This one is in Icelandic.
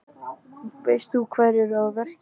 Veist þú hverjir eru að verki?